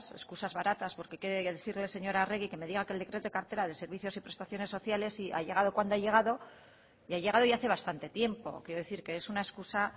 escusas baratas porque quiero decirle señora arregi que me diga que el decreto de cartera de servicios y prestaciones sociales sí ha llegado cuando ha llegado y ha llegado ya hace bastante tiempo quiero decir que es una excusa